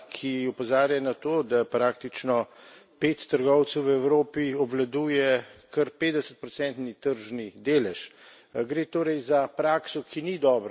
Zelo zgovorna je tudi statistika, ki opozarja na to, da praktično pet trgovcev v Evropi obvladuje kar petdesetprocentni tržni delež.